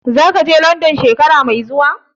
Zaka je Landan shekara mai zuwa?